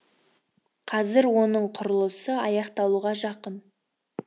қазір оның құрылысы аяқталуға жақын